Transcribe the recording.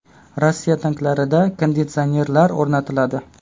Rossiya tanklarida konditsionerlar o‘rnatiladi.